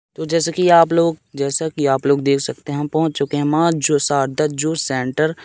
तो जैसे कि आप लोग जैसा कि आप लोग देख सकते हैं हम पहुँच चुके हैं माँ जो शारदा जूस सेंटर ।